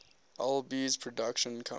alby's production company